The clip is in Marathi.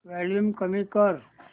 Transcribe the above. वॉल्यूम कमी कर